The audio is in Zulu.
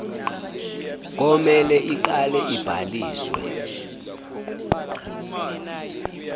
komele iqale ibhaliswe